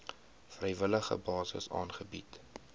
vrywillige basis aangebied